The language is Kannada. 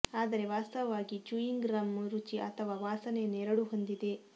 ಆದರೆ ವಾಸ್ತವವಾಗಿ ಚೂಯಿಂಗ್ ಗಮ್ ರುಚಿ ಅಥವಾ ವಾಸನೆಯನ್ನು ಎರಡೂ ಹೊಂದಿದೆ